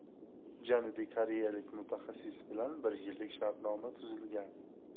Janubiy koreyalik mutaxassis bilan bir yillik shartnoma tuzilgan.